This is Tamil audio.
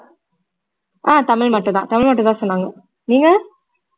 ஆஹ் தமிழ் மட்டும் தான் தமிழ் மட்டும் தான் சொன்னாங்க நீங்க